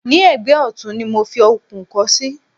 ní ẹ̀gbẹ́ ọ̀tún ni mo fi okùn kọ́ sí